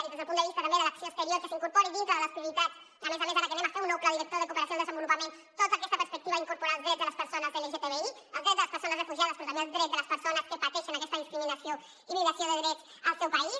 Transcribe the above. i des del punt de vista també de l’acció exterior que s’incorpori dintre de les prioritats a més a més ara que farem un nou pla director de cooperació al desenvolupament tota aquesta perspectiva d’incorporar els drets de les persones lgtbi els drets de les persones refugiades però també els drets de les persones que pateixen aquesta discriminació i violació de drets al seu país